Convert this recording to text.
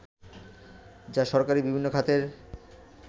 যা সরকারী বিভিন্ন খাতের